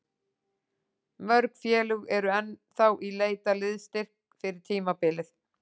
Mörg félög eru ennþá í leit að liðsstyrk fyrir tímabilið.